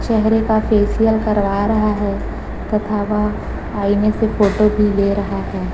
चेहरे का फेशियल करवा रहा है तथा वह आईने से फोटो भी ले रहा है।